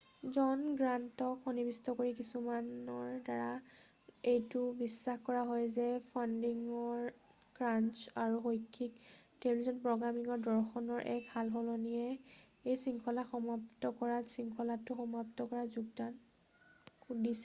জন গ্ৰান্টক সন্নিৱিষ্ট কৰি কিছুমানৰ দ্বাৰা এইটো বিশ্বাস কৰা হয় যে ফাণ্ডিঙৰ ক্ৰাঞ্চ আৰু শৈক্ষিক টেলিভিছন প্ৰ'গ্ৰামিঙৰ দৰ্শনৰ এক সাল-সলনিয়ে এই শৃঙ্খলাক সমাপ্ত কৰাত শৃঙ্খলাটো সমাপ্ত কৰাত যোগদান দিছিল৷